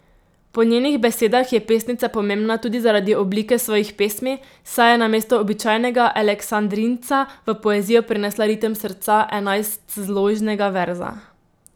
Po njenih besedah je pesnica pomembna tudi zaradi oblike svojih pesmi, saj je namesto običajnega aleksandrinca v poezijo prinesla ritem srca enajstzložnega verza.